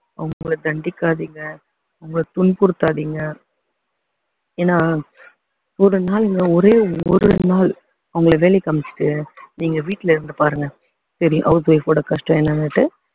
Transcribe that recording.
அவங்களை தண்டிக்காதீங்க அவங்களை துன்புறுத்தாதீங்க ஏன்னா ஒரு நாள்ங்க ஒரே ஒரு நாள் அவங்களை வேலைக்கு அமைச்சிட்டு நீங்க வீட்டுல இருந்து பாருங்க தெரியும் house wife ஓட கஷ்டம் என்னன்னுட்டு